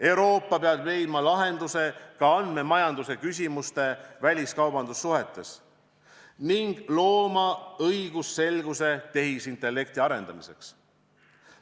Euroopa peab leidma lahenduse ka andmemajanduse küsimustele väliskaubandussuhetes ning looma õigusselguse tehisintellekti arendamiseks.